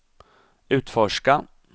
utforska